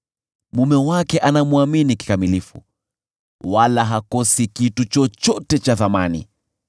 Mume wake anamwamini kikamilifu wala hakosi kitu chochote cha thamani.